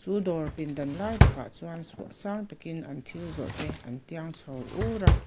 chu dawr pindan lai takah chuan an suah thil zawrh te sang takin an tiang chho ur a.